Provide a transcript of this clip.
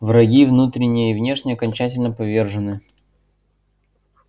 враги внутренние и внешние окончательно повержены